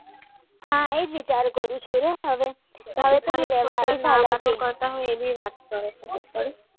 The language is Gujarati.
હવે વિચાર કરું છું કે શું કરું હવે